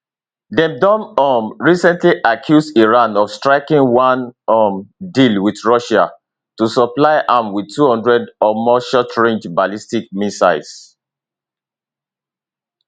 dem don um recently accuse iran of striking one um deal wit russia to supply am wit 200 or more shortrange ballistic missiles